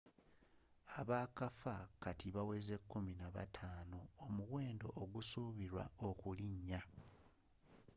abaakafa kati bawezze 15 omuwendo ogusuubilwa okulinnya